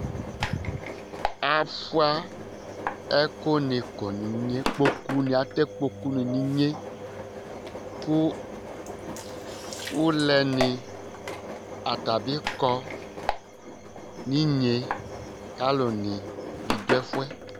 Avʋa ɛkʋni kɔ nʋ inye Ikpoku ni, atɛ ikpoku ni nʋ inye kʋ ʋlɛ ni ata bi kɔ nʋ inye ye kʋ alu ni bi du ɛfʋɛ